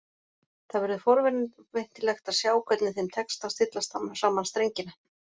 Það verður forvitnilegt að sjá hvernig þeim tekst að stilla saman strengina.